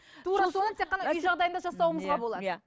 тура соны тек қана үй жағдайында жасауымызға болады иә